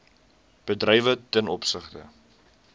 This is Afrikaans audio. bedrywe ten opsigte